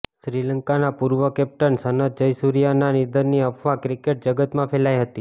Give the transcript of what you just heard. શ્રીલંકાના પૂર્વ કેપ્ટન સનથ જયસૂર્યાના નિધનની અફવા ક્રિકેટ જગતમાં ફેલાઇ હતી